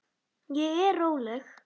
Ég er róleg.